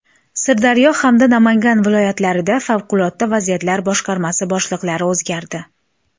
Sirdaryo hamda Namangan viloyatlarida Favqulodda vaziyatlar boshqarmasi boshliqlari o‘zgardi.